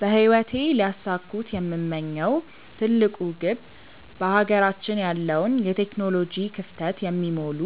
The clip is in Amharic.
በህይወቴ ሊያሳኩት የምመኘው ትልቁ ግብ በሀገራችን ያለውን የቴክኖሎጂ ክፍተት የሚሞሉ